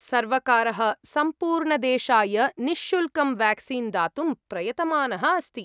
सर्वकारः सम्पूर्णदेशाय निःशुल्कं वेक्सीन् दातुं प्रयतमानः अस्ति।